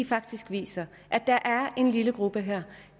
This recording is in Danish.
faktisk viser at der er en lille gruppe her